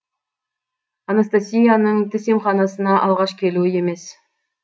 анастасияның тіс емханасына алғаш келуі емес